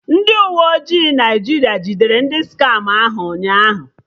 Uwe ojii ndị Naịjirịa jidere ndị skama ahụ ụnyaahụ